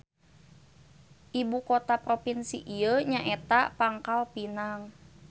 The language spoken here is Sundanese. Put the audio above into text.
Ibu kota propinsi ieu nyaeta Pangkalpinang.